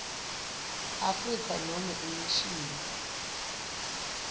afrika nobe imishini